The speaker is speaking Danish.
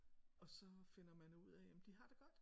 Og så finder man ud af jamen de har det godt